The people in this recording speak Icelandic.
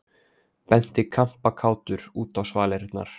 Benti kampakátur út á svalirnar.